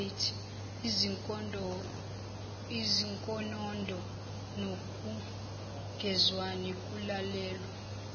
izinkonondo nokungezwani kulalelwa